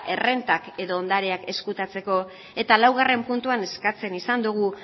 errentak edo ondareak ezkutatzeko eta laugarren puntuan eskatu izan dugu